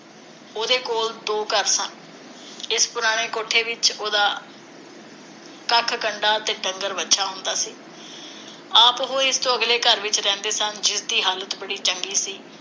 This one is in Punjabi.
ਉਹਦੇ ਕੋਲ ਦੋ ਘਰ ਸਨ। ਇਸ ਪੁਰਾਣੇ ਕੋਠੇ ਵਿਚ ਉਹਦਾ ਕੱਖ ਕੰਡਾ ਤੇ ਡੰਗਰ ਵੱਛਾ ਹੁੰਦਾ ਸੀ। ਆਪ ਉਹ ਇਸ ਤੋਂ ਅਗਲੇ ਘਰ ਵਿਚ ਰਹਿੰਦੇ ਸਨ, ਜਿਸ ਦੀ ਹਾਲਤ ਬੜੀ ਚੰਗੀ ਸੀ